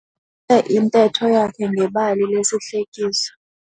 Uqalise intetho yakhe ngebali lesihlekiso.